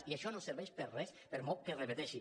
i això no serveix per a res per molt que es repeteixi